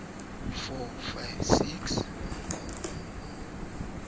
eo o ka e tlatsang